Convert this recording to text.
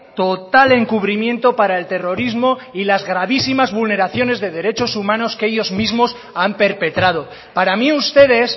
total encubrimiento para el terrorismo y las gravísimas vulneraciones de derechos humanos que ellos mismos han perpetrado para mí ustedes